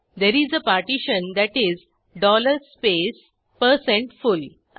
Therese a partition that is space full